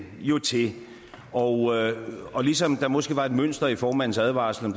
jo til og og ligesom der måske var et mønster i formandens advarsler